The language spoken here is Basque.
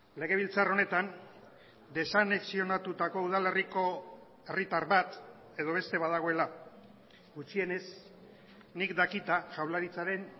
legebiltzar honetan desanexionatutako udalerriko herritar bat edo beste badagoela gutxienez nik dakita jaurlaritzaren